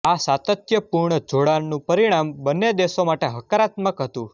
આ સાતત્યપૂર્ણ જોડાણનું પરિણામ બંને દેશો માટે હકારાત્મક હતું